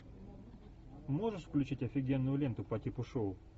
можешь включить офигенную ленту по типу шоу